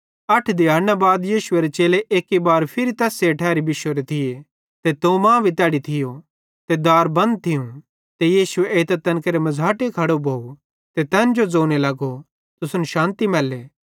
अठ दिहैड़ना बाद यीशुएरे चेले एक्की बार फिरी तैस्से ठैरी बिश्शोरे थिये ते थोमा भी तैड़ी थियो ते दार भी बंद थियूं ते यीशु एइतां तैन मझ़ाटे खड़ो भोव ते तैन जो ज़ोने लगो तुसन शान्ति मैल्ले